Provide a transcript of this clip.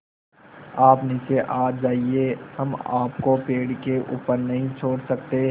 आप नीचे आ जाइये हम आपको पेड़ के ऊपर नहीं छोड़ सकते